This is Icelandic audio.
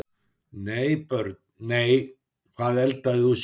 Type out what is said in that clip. Nei Börn: Nei Hvað eldaðir þú síðast?